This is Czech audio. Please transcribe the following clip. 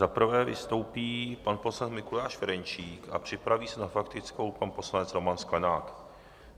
Za prvé vystoupí pan poslanec Mikuláš Ferjenčík a připraví se na faktickou pan poslanec Roman Sklenák.